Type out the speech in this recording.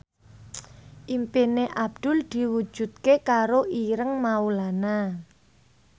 impine Abdul diwujudke karo Ireng Maulana